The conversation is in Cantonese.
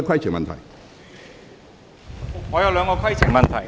主席，我有兩個規程問題。